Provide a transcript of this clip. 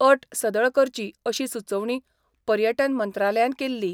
अट सदळ करची अशी सुचोवणी पर्यटन मंत्रालयान केल्ली.